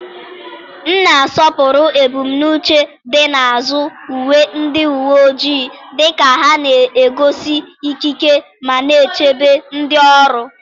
m na-asọpụrụ ebumnuche dị n'azụ uwe ndị uwe ojii, dịka ha na-egosi ikike ma na-echebe ndị ọrụ.